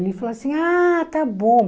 Ele falou assim, ah, está bom.